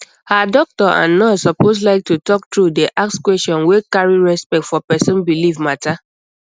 ah doctor and nurse suppose like to talk true dey ask question wey carry respect for person belief matter